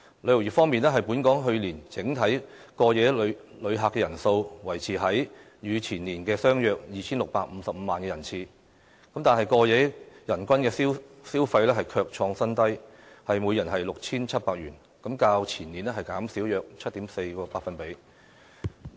旅遊業方面，本港去年整體過夜旅客人數，維持在與前年相若的 2,655 萬人次，但過夜人均消費卻創新低，約 6,700 元，較前年減少約 7.4%。